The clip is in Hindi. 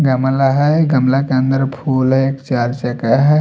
गमला है गमला के अंदर फूल है एक चार चका है।